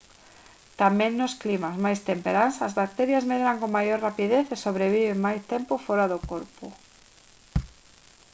tamén nos climas máis temperás as bacterias medran con maior rapidez e sobreviven máis tempo fóra do corpo